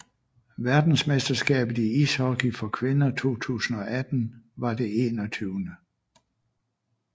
Verdensmesterskabet i ishockey for kvinder 2018 var det 21